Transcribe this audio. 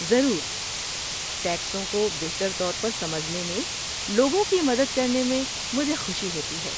ضرور، ٹیکسوں کو بہتر طور پر سمجھنے میں لوگوں کی مدد کرنے میں مجھے خوشی ہوتی ہے۔